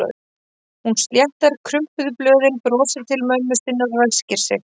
Hún sléttar krumpuð blöðin, brosir til mömmu sinnar og ræskir sig.